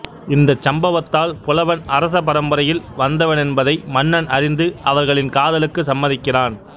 இந்தச் சம்பவத்தால் புலவன் அரச பரம்பரையில் வந்தவனென்பதை மன்னன் அறிந்து அவர்களின் காதலுக்கு சம்மதிக்கிறான்